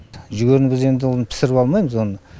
жүгеріні біз енді оны пісіріп алмаймыз оны